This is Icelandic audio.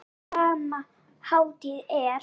Á sama hátt er